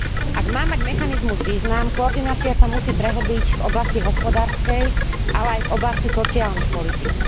Ak má mať mechanizmus význam, koordinácia sa musí prehĺbiť v oblasti hospodárskej, ale aj v oblasti sociálnych politík.